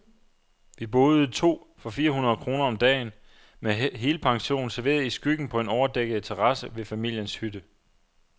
Vi boede to for fire hundrede kroner om dagen, med helpension, serveret i skyggen på en overdækket terrasse ved familiens hytte.